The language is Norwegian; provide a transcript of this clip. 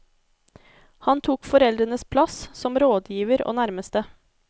Han tok foreldrenes plass, som rådgiver og nærmeste.